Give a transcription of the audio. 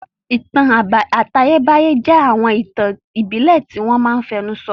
Ìtàn àtayébáyé jẹ́ àwọn ìtàn ìbílẹ̀ tí wọ́n máa n fẹnu sọ